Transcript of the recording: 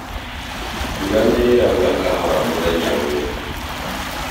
Mbura nĩ ĩraura kahora mũthenya ũyũ